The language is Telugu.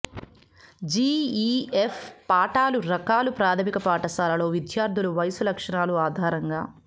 జిఇఎఫ్ పాఠాలు రకాలు ప్రాధమిక పాఠశాలలో విద్యార్థులు వయసు లక్షణాలు ఆధారంగా